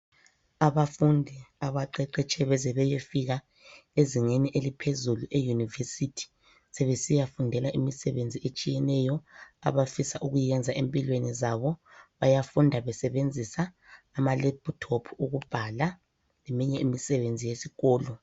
Abafundi abaqeqetshe beze beyefika ezingeni eliphezulu eyunivesithi sebesiyafundela imisebenzi etshiyeneyo abafisa ukuyiyenza empilweni zabo. Bayafunda besebenzisa amalephuthophu okubhala eminye imisebenzi yesikolo.